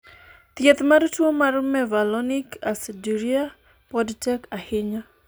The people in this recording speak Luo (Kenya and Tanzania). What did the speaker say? thieth mar tuo mar mevalonic aciduria pod tek ahinya